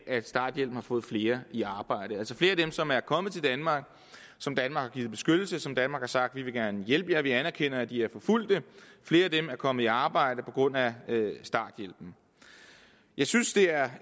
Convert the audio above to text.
at starthjælpen har fået flere i arbejde altså flere af dem som er kommet til danmark som danmark har givet beskyttelse som danmark har sagt man gerne vil hjælpe fordi vi anerkender at de er forfulgte er kommet i arbejde på grund af starthjælpen jeg synes det er